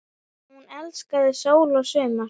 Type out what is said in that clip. Hún elskaði sól og sumar.